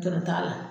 Dɔrɔn t'a la